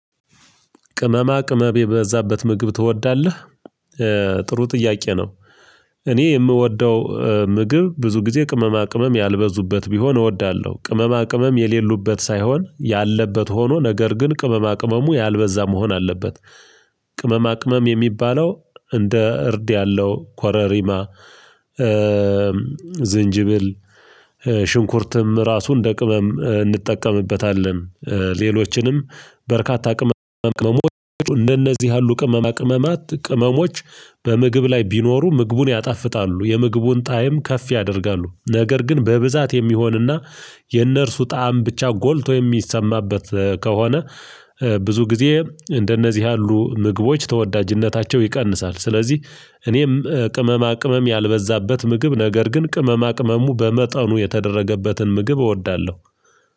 ቅመማ ቅመም የዛበት ምግብ ትወዳለህ? ጥሩ ጥያቄ ነው። እኔ የምወደው ምግብ ብዙ ጊዜ ቅመማ ቅመም ያልበዙበት ቢሆን እወዳለሁ። ቅመማ ቅመም የሌሉበት ሳይሆን ያለበት ሆኖ ነገር ግን ቅመማ ቅመሙ ያልበዛ መሆን አለበት። ቅመማ ቅመም የሚባለው እንደ እርድ ያለው ኮረሪማ ዝንጅብል ሽንኩርትም ራሱን እንደ ቅመም እንጠቀምበታለን። ሌሎችንም በርካታ ቅመም ቅመሞች እንደነዚህ ያሉ ቅመማ ቅመማት ቅመሞች። በምግብ ላይ ቢኖሩ ምግቡን ያጣፍጣሉ የምግቡን ጣዕም ከፍ ያደርጋሉ። ነገር ግን በብዛት የሚሆንና የእነርሱ ጣዕም ብቻ ጎልቶ የሚሰማበት ከሆነ። ብዙ ጊዜ እንደነዚህ ያሉ ምግቦች ተወዳጅነታቸው ይቀንሳል። ስለዚህ እኔም ቅመማ ቅመም ያልበዛበት ምግብ ነገር ግን ቅመማ ቅመሙ በመጠኑ የተደረገበትን ምግብ እወዳለሁ።